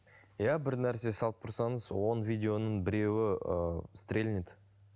иә бір нәрсе салып тұрсаңыз он видеоның біреуі ыыы стрельнет